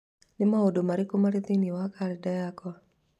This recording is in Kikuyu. Nĩ maũndũ marĩkũ marĩ thĩinĩ wa kalendarĩ yakwa?